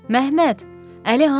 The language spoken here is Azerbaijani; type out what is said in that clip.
Məhməd, Əli hanı?